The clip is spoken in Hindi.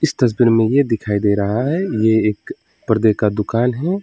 तस्वीर में यह दिखाई दे रहा है ये एक पर्दे का दुकान है।